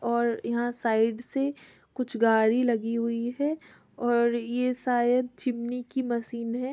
और यहाँ साइड से कुछ गाड़ी लगी हुई है और ये सायद चिमनी की मसीन हे।